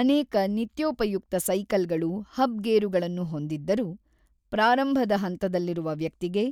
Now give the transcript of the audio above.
ಅನೇಕ ನಿತ್ಯೋಪಯುಕ್ತ ಸೈಕಲ್‌ಗಳು ಹಬ್ ಗೇರುಗಳನ್ನು ಹೊಂದಿದ್ದರೂ, ಪ್ರಾರಂಭದ ಹಂತದಲ್ಲಿರುವ ವ್ಯಕ್ತಿಗೆ